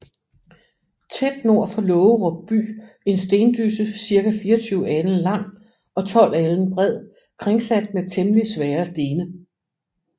Tæt nord for Laagerup By en Stendysse circa 24 Alen lang og 12 Alen bred kringsat med temmelig svære Stene